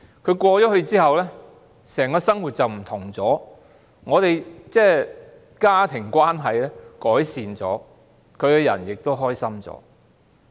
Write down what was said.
他轉校後，整個生活改變了，家庭關係有所改善，他亦開心了。